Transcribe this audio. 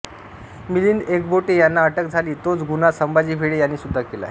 मिलिंद एकबोटे यांना अटक झाली तोच गुन्हा संभाजी भिडे यांनीसुद्धा केलाय